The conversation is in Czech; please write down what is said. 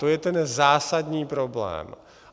To je ten zásadní problém.